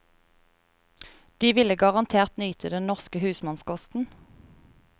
De ville garantert nyte den norske husmannskosten.